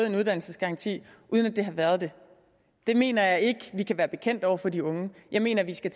en uddannelsesgaranti uden at det har været det det mener jeg ikke at vi kan være bekendt over for de unge jeg mener at vi skal